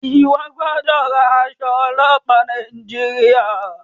iwọ gbódò rán Aṣọ ọlọpa Nàìjíríà!